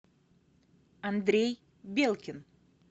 андрей белкин